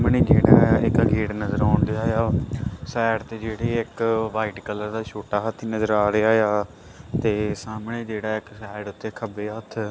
gate ਨਜਰ ਆਉਂਡੇਆ ਆ ਸਾਈਡ ਤੇ ਜਿਹੜੀ ਇੱਕ ਵ੍ਹਾਈਟ ਕਲਰ ਦਾ ਛੋਟਾ ਹਾਥੀ ਨਜਰ ਆ ਰਿਹਾ ਆ ਤੇ ਸਾਹਮਣੇ ਜਿਹੜਾ ਇੱਕ ਸਾਈਡ ਤੇ ਖੱਬੇ ਹੱਥ--